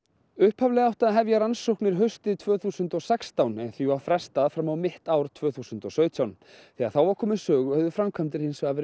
upphaflega átti að hefja rannsóknir haustið tvö þúsund og sextán en því var frestað fram á mitt ár tvö þúsund og sautján þegar þá var komið sögu höfðu framkvæmdir hins vegar verið